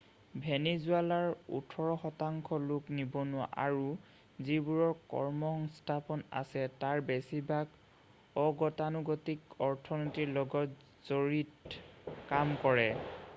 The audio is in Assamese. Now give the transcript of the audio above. ভেনিজুৱালাৰ ওঠৰ শতাংশ লোক নিবনুৱা আৰু যিবোৰৰ কৰ্মসংস্থাপন আছে তাৰ বেছিভাগেই অগতানুগতিক অৰ্থনীতিৰ লগত জড়িত কাম কৰে